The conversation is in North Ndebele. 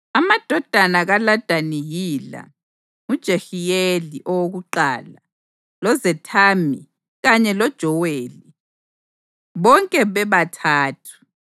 Amadodana kaLadani yila: nguJehiyeli owokuqala, loZethami kanye loJoweli, bonke bebathathu.